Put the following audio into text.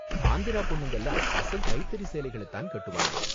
ஆந்திரா பொண்ணுங்கலாம் அசல் கைத்தறி சேலைகள தான் கட்டுவாங்க.